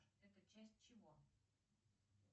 это часть чего